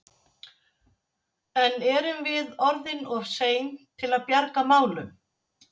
En erum við orðin of sein til að bjarga málum?